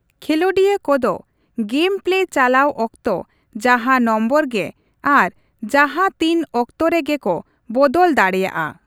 ᱠᱷᱮᱞᱚᱸᱰᱤᱭᱟᱹ ᱠᱚᱫᱚ game play ᱪᱟᱞᱟᱣ ᱚᱠᱛᱚ ᱡᱟᱦᱟᱸ ᱱᱚᱢᱵᱚᱨ ᱜᱮ ᱟᱨ ᱡᱟᱦᱟᱸ ᱛᱤᱱ ᱚᱠᱛᱚ ᱨᱮᱜᱮ ᱠᱚ ᱵᱚᱫᱚᱞ ᱫᱟᱲᱮᱭᱟᱜᱼᱟ ᱾